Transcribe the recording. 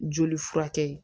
Joli furakɛ